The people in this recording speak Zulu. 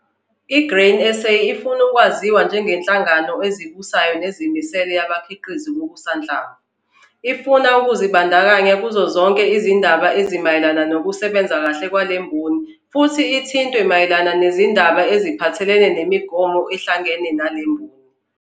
I-Grain SA ifuna ukwaziwa njengenhlangano ezibusayo nezimele yabakhiqizi bokusanhlamvu. Ifuna ukuzibandakanya kuzo zonke izindaba ezimayelana nokusebenza kahle kwale mboni futhi ithintwe mayelana nezindaba eziphathelene nemigomo ehlangene nale mboni.